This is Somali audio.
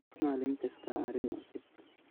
Malin kastaa arin cusub.